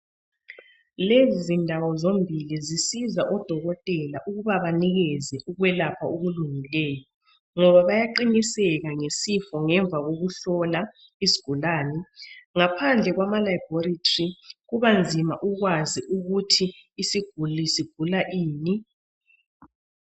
Lezi zindawo zombili zisiza odokotela ukuba banikeze ukwelapha okulungileyo ngoba bayaqiniseka ngesifo ngemva kokuhlola isigulane ngaphandle kwama "Laboratory" kubanzima ukwazi ukuthi isiguli sigula ini.